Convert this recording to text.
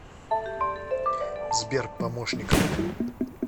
сбер помощником